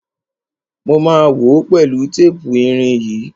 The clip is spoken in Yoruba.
Mo ma wòó pẹ̀lú tépù irin yìí.